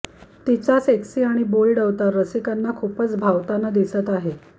तिचा सेक्सी आणि बोल्ड अवतार रसिकांना खूपच भावताना दिसत आहे